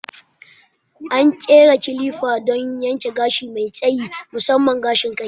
An ƙera makana ne don yanke gashi mai tsayi, musamman gashin kai.